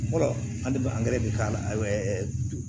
an dun bɛ angɛrɛ bɛ k'a la